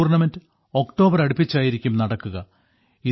ഈ tournament October അടുപ്പിച്ചായിരിക്കും നടക്കുക